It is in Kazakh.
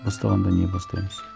бастағанда не бастаймыз